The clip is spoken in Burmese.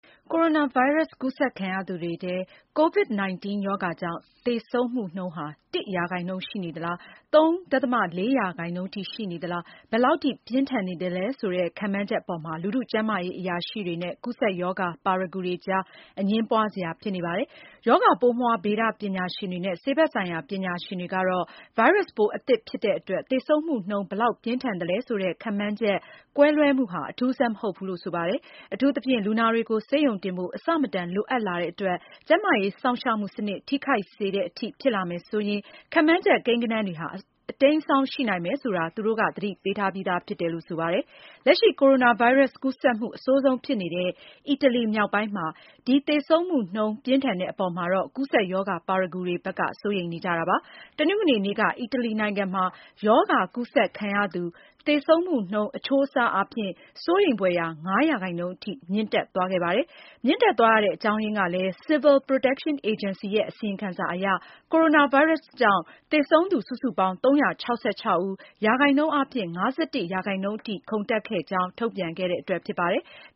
ကိုရိုနာဗိုင်းရပ်စ်ကူးစက်ခံရသူတွေထဲ COVID-19 ရောဂါကြောင့် သေဆုံးမှုနှုန်းဟာ ၁% ရှိနေလား ၃.၄% ရှိနေလား၊ ဘယ်လောက်ပြင်းထန်သလဲဆိုတဲ့ ခန့်မှန်းချက်အပေါ်မှာ လူထုကျန်းမာရေး အရာရှိတွေနဲ့ ကူးစက်ရောဂါ ပါရဂူတွေကြား အငြင်းပွားစရာဖြစ်နေပါတယ်။ ရောဂါပိုးမွှား ဗေဒပညာရှင်တွေနဲ့ ဆေးဘက်ဆိုင်ရာ ပညာရှင်တွေကတော့ ဗိုင်းရပ်စ်ပိုး အသစ်ဖြစ်တဲ့အတွက် သေဆုံးမှုနှုန်း ဘယ်လောက်ပြင်းထန်သလဲဆိုတဲ့ ခန့်မှန်းချက် ကွဲလွဲမှုဟာ အထူးအဆန်းမဟုတ်ဘူးလို့ဆိုပါတယ်။ အထူးသဖြင့် လူနာတွေကို ဆေးရုံတင်ဖို့ အဆမတန်လိုအပ်လာတဲ့အတွက် ကျန်းမာရေး စောင့်ရှောက်မှုစနစ် ထိခိုက်စေမယ်ဆိုရင် ခန့်မှန်းချက် ကိန်းဂဏန်းဟာ အတိမ်းအစောင်း ရှိနိုင်မယ်ဆိုတာ သူတို့က သတိပေးထားပြီးသာဖြစ်ပါတယ်။ လက်ရှိ ကိုရိုနာဗိုင်းရပ်စ် ကူးစက်မှုအဆိုးဆုံးဖြစ်နေတဲ့ အီတလီမြောက်ပိုင်းမှာ ဒီသေဆုံးမှုနှုန်းပြင်းထန်တဲ့ အပေါ်မှာ ကူးစက်ရောဂါ ပါရဂူတွေ စိုးရိမ်နေကြတာပါ။ တနင်္ဂနွေနေ့မှာ အီတလီနိုင်ငံရဲ့ ရောဂါကူးစက်ခံရသူ သေဆုံးမှုနှုန်း အချိုးအဆအားဖြင့် စိုးရိမ်ဖွယ်ရာ ၅% ထိမြင့်တက်သွားခဲ့တာပါ။ မြင့်တက်သွားတဲ့ အကြောင်းအရင်းက Civil Protection Agency ရဲ့အစီရင်ခံစာအရ ကိုရိုနာဗိုင်းရပ်စ်ကြောင့် သေဆုံးသူ စုစုပေါင်း ၃၆၆ ဦး၊ ရာခိုင်နှုန်းအားဖြင့် ၅၁% ထိ ခုန်တက်ခဲ့ကြောင်း ထုတ်ပြန်ခဲ့တဲ့အတွက်ဖြစ်ပါတယ်။